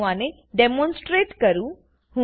ચાલો હું આને ડેમોનસ્ટ્રેટ કરું